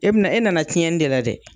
E bɛna, e nana tiɲɛni ne la dɛ!